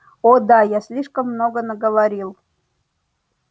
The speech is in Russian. о да я слишком много наговорил